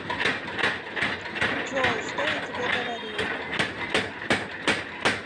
джой что я тебе говорил